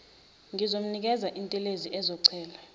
ngizomnikeza intelezi azochela